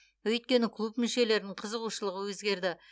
өйткені клуб мүшелерінің қызығушылығы өзгерді